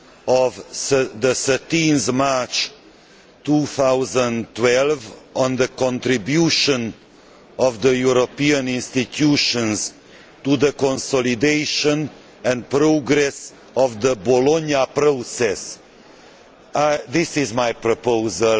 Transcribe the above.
of 13 March 2012 on the contribution of the European institutions to the consolidation and progress of the Bologna Process'. This is my proposal.